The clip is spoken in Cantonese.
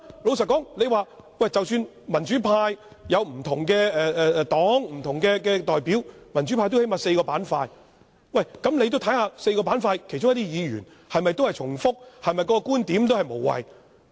老實說，民主派有不同黨派或代表，民主派最少也有4個板塊，他也要看看4個板塊的其他議員是否重複、觀點是否無謂。